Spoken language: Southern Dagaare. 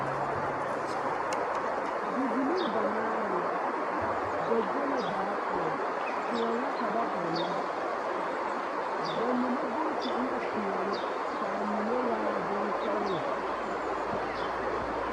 Bibilii banaare la ba go la baa poɔ, kõɔ la ka ba ɔnnɔ bamine booti ena peɛne k'a mine waa bonsɔgelɔ.